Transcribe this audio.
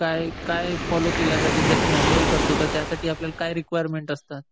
ह्यात काय फॉलो केलं जातं? जसं मॅन्युअल असतं त्यासाठी आपल्या काय रिक्वायरमेंट असतात?